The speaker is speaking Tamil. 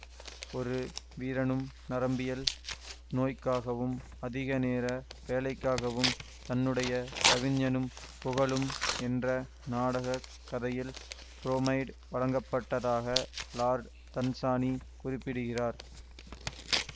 ஒரு வீரனும் நரம்பியல் நோய்க்காகவும் அதிகநேர வேலைக்காகவும் தன்னுடைய கவிஞனும் புகழும் என்ற நாடக கதையில் புரோமைடு வழங்கப்பட்டதாக இலார்டு தன்சானி குறிப்பிடுகிறார்